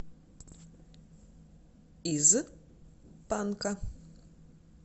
из панка